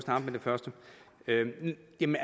en